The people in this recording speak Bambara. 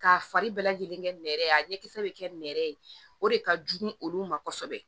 K'a fari bɛɛ lajɛlen kɛ nɛrɛ ye a ɲɛkisɛ bɛ kɛ nɛrɛ ye o de ka jugu olu ma kosɛbɛ